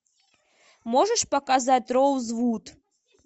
можешь показать роузвуд